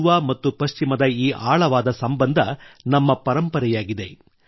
ಪೂರ್ವ ಮತ್ತು ಪಶ್ಚಿಮದ ಈ ಆಳವಾದ ಸಂಬಂಧ ನಮ್ಮ ಪರಂಪರೆಯಾಗಿದೆ